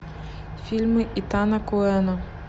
фильмы итана коэна